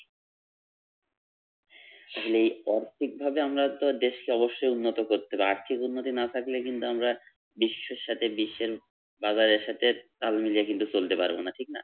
আসলে অর্থিকভাবে আমরা তো দেশকে অবশ্যই উন্নত করতে হবে, আর্থিক উন্নতি না থাকলে কিন্তু আমরা বিশ্বর সাথে বিশ্বের বাজার এর সাথে তাল মিলিয়ে কিন্তু চলতে পারবোনা ঠিক না